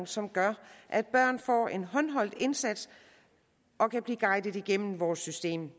som gør at børn får en håndholdt indsats og kan blive guidet igennem vores system